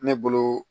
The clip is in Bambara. Ne bolo